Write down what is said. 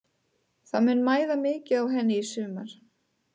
Það mun mæða mikið á henni í sumar.